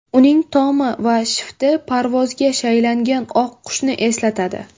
Uning tomi va shifti parvozga shaylangan oq qushni eslatadi.